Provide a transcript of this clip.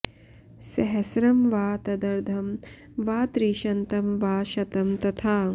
सहस्रं वा तदर्धं वा त्रिशतं वा शतं तथा